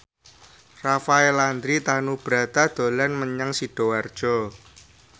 Rafael Landry Tanubrata dolan menyang Sidoarjo